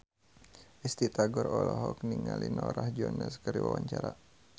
Risty Tagor olohok ningali Norah Jones keur diwawancara